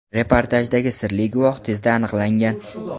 reportajdagi sirli guvoh tezda aniqlangan.